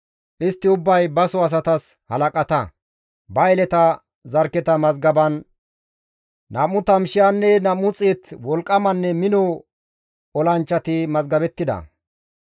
Istti ubbay baso asatas halaqata; ba yeleta zarkketa mazgaban 20,200 wolqqamanne mino olanchchati mazgabettida.